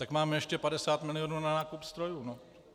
Tak máme ještě 50 milionů na nákup strojů.